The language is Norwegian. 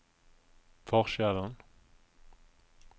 forskjellen